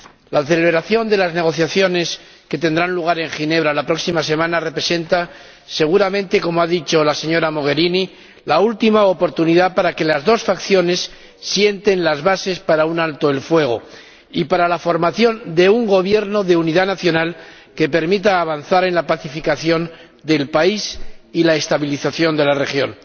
La celebración de las negociaciones que tendrán lugar en Ginebra la próxima semana representa seguramente —como ha dicho la señora Mogherini— la última oportunidad para que las dos facciones sienten las bases de un alto el fuego y de la formación de un gobierno de unidad nacional que permita avanzar en la pacificación del país y en la estabilización de la región.